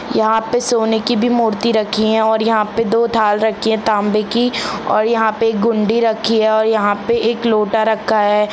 यहां पर सोने की भी मूर्ति रखी है और यहां पर दो थल रखी है तांबे की और यहां पर गुंडी रखी है और यहां पर एक लोटा रखा हैं।